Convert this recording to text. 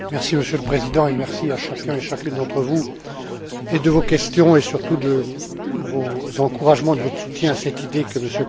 Monsieur le Président, merci à chacun et chacune d'entre vous, pour vos questions et, surtout, pour vos encouragements et votre soutien à cette idée que M.